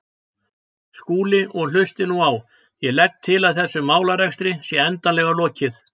Skúli, og hlustið nú á: Ég legg til að þessum málarekstri sé endanlega lokið.